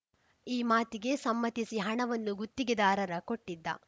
ಈ ಮಾತಿಗೆ ಸಮ್ಮತಿಸಿ ಹಣವನ್ನು ಗುತ್ತಿಗೆದಾರರ ಕೊಟ್ಟಿದ್ದ